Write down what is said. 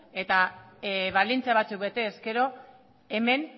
eta baldintza batzuk bete ezkero hemen